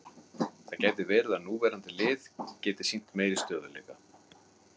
Það gæti verið að núverandi lið geti sýnt meiri stöðugleika.